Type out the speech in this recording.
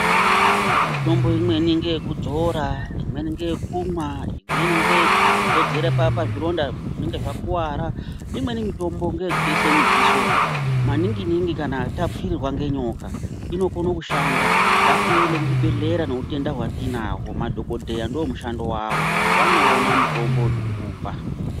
Mitombo imweni ndeye kudzora imweni ngeye kumwa, imweni ngeye kudzodzera pazvironda zvinenge zvakuwara, imweni mitombo ngeye kuisa mudziso maningi ningi kana tapfirirwa ngenyoka inokona kushanda. Ngaitiende kuzvibhedhlera nehutenda hwatinahwo madhokodheya ndomishando yawo vanoona mutombo wokukupa.